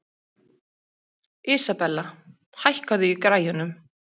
Isabella, hækkaðu í græjunum.